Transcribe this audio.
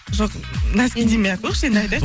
жоқ нәски демей ақ қояйықшы енді айтайық